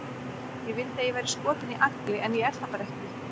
Ég vildi að ég væri skotin í Agli, en ég er það bara ekki.